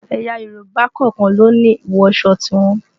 Ẹ̀yà Yorùbá kọ̀ọ̀kan ló ní ìwọsọ tiwọn